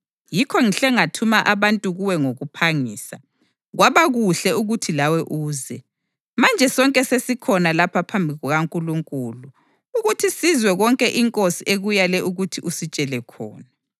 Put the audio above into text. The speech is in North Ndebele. Yikho ngihle ngathuma abantu kuwe ngokuphangisa, kwaba kuhle ukuthi lawe uze. Manje sonke sesikhona lapha phambi kukaNkulunkulu ukuthi sizwe konke iNkosi ekuyale ukuthi usitshele khona.”